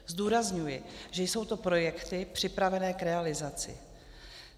Zdůrazňuji, že jsou to projekty připravené k realizaci.